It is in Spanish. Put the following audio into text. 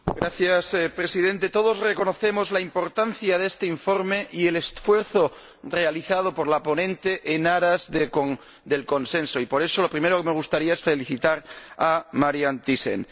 Señor Presidente, todos reconocemos la importancia de este informe y el esfuerzo realizado por la ponente en aras del consenso y, por eso, en primer lugar, me gustaría felicitar a Marianne Thyssen.